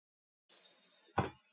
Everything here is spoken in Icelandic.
Því það varstu.